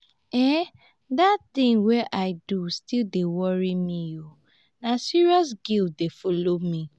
um dat tin wey i do still dey worry me na serious guilt dey folo me.